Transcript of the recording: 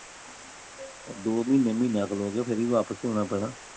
ਦੋ ਮਹੀਨੇ ਮਹੀਨਿਆ ਖਲੋ ਕੇ ਫਿਰ ਵੀ ਵਾਪਿਸ ਈ ਆਉਣਾ ਪੈਣਾ